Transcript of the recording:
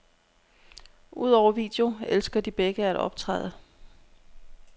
Udover video elsker de begge at optræde.